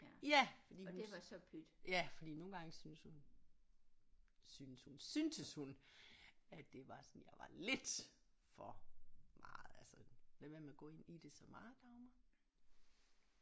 Ja ja fordi nogle gange synes hun synes hun syntes hun at det var sådan jeg var lidt for meget altså lad være med at gå ind i det så meget Dagmar